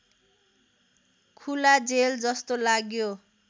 खुला जेलजस्तो लाग्यो